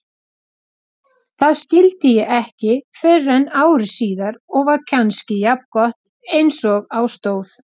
Það skildi ég ekki fyrren ári síðar og var kannski jafngott einsog á stóð.